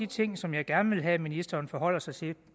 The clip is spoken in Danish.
ting som jeg gerne have at ministeren forholder sig til